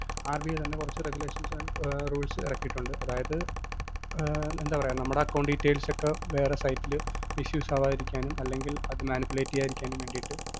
RBI തന്നെ കുറച്ച് regulations rules ഇറക്കിയിട്ടുണ്ട് അതായതു ആഹ് എന്താ പറയുക നമ്മുടെ account details ഒക്കെ വേറെ site ല് issues അവാതിരിക്കാനും അല്ലെങ്കില്‍ അത് manipulate ചെയ്യാതിരിക്കാനും വേണ്ടീട്ട്